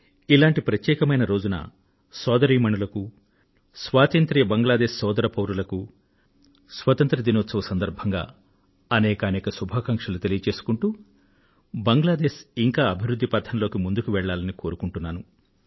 ఇలాంటి ప్రత్యేకమైన రోజున స్వతంత్ర బంగ్లాదేశ్ సోదర పౌరులకూ సోదరీమణులకు స్వతంత్ర దినోత్సవం సందర్భంగా అనేకానేక శుభాకాంక్షలు తెలియజేసుకుంటూ బంగ్లాదేశ్ ఇంకా అభివృధ్ధి పథంలోకి ముందుకు వెళ్ళాలని కోరుకుంటున్నాను